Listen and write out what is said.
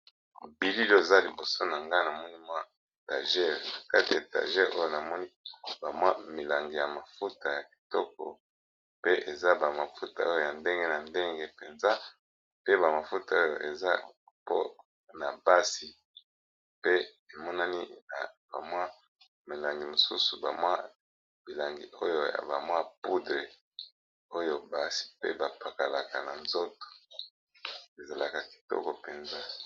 Bilili, oyo eza liboso na nga ! namoni mwa tajer , kati ya tajer oyo ! namoni bamwa milangi ya mafuta ya kitoko pe eza ba mafuta oyo ya ndenge , na ndenge mpenza ! pe ba mafuta oyo eza mpona basi , pe emonani na bamwa milangi ,mosusu bamwa , bilangi oyo ya bamwa poudre , oyo basi pe bapakalaka na nzoto ezalaka , kitoko mpenza .